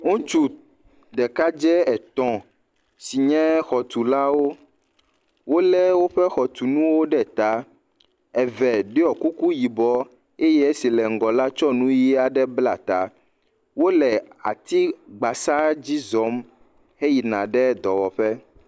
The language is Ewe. Ŋutsu ɖekadze etɔ̃ si nye xɔtulawo wole woƒe xɔtɔnuwo ɖe ta. Eve ɖɔ kuku yibɔ eye esi le ŋgɔ la tsɔ nuʋi aɖe bla ta. Wole atsi gbasa dzi zɔm heyina ɖe dɔwɔƒe.